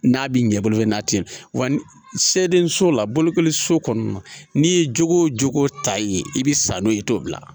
N'a bi ɲɛ bolo n'a te yen wa sɛiso la bolokoli so kɔnɔ n'i ye jogo ta ye i bi sa n'o ye i t'o bila